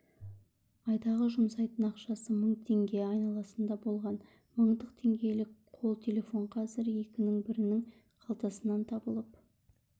айдағы жұмсайтын ақшасы мың теңге айналасында болған мыңдық теңгелік қолтелефон қазір екінің бірінің қалтасынан табылып